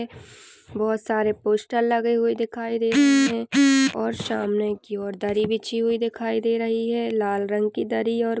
--बहुत सारे पोस्टर लगे हुए दिखाई दे रहे है और सामने की और दरी बीछी हुई दिखाई दे रही है लाल रंग की दरी और--